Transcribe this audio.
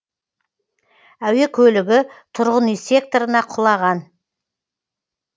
әуе көлігі тұрғын үй секторына құлаған